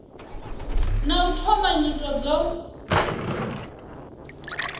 na u thoma nyito dzo